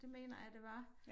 Det mener jeg det var